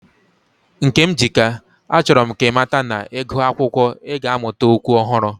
Nkemjika, achoro m ka imata na, igu akwukwo, i ga amuta okwu ohuru.